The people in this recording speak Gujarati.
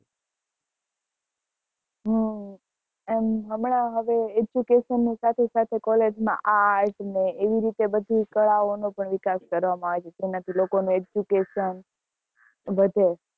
હમ અને હમણાં હવે education ની સાથે સાથે college માં art ને એવી રીતે બધી કળા ઓનો પણ વિકાસ કરવા માં આવે જેના થી લોકો ને education વધે